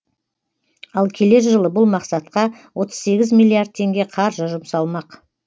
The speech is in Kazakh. ал келер жылы бұл мақсатқа отыз сегіз миллиард теңге қаржы жұмсалмақ